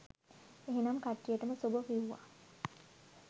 එහෙනම් කට්ටියටම සුභ කිව්වා